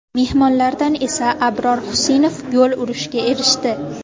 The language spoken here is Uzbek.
Mehmonlardan esa Abror Xusinov gol urishga erishdi.